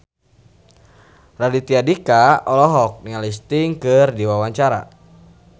Raditya Dika olohok ningali Sting keur diwawancara